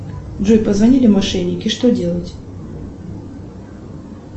джой позвонили мошенники что делать